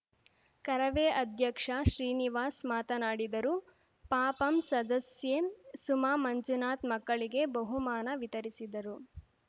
ಕರವೇ ಅಧ್ಯಕ್ಷ ಶ್ರೀನಿವಾಸ್‌ ಮಾತನಾಡಿದರು ಪ ಪಂ ಸದಸ್ಯೆ ಸುಮಾ ಮಂಜುನಾಥ್‌ ಮಕ್ಕಳಿಗೆ ಬಹುಮಾನ ವಿತರಿಸಿದರು